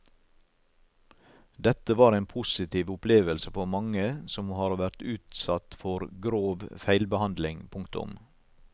Dette var en positiv opplevelse for mange som har vært utsatt for grov feilbehandling. punktum